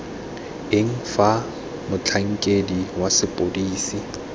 eng fa motlhankedi wa sepodisi